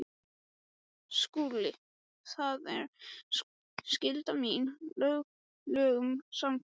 SKÚLI: Það var skylda mín lögum samkvæmt.